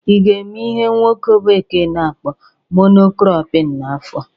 ị ga-eme ihe nwoke bekee na-akpọ mono cropping n'afọ a?